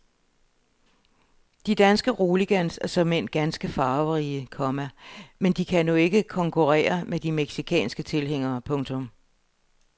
De danske roligans er såmænd ganske farverige, komma men de kan nu ikke konkurre re med de mexicanske tilhængere. punktum